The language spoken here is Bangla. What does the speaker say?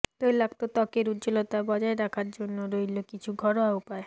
তৈলাক্ত ত্বকের উজ্জ্বলতা বজায় রাখার জন্য রইল কিছু ঘরোয়া উপায়